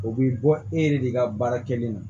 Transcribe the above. O bi bɔ e yɛrɛ de ka baara kɛlen don